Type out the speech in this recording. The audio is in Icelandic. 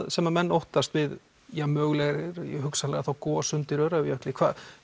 sem menn óttast við þá mögulega hugsanlega þá gos undir Öræfajökli